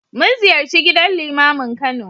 Mun ziyarci gidan Limamin Kano.